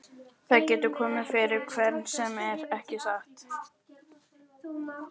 Það getur komið fyrir hvern sem er, ekki satt?